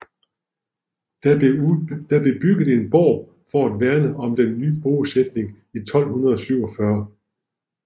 Der blev bygget en borg for at værne om den nye bosætning i 1247